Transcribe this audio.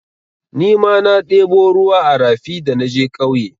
Nima na ɗebo ruwa a rafi da naje ƙauye.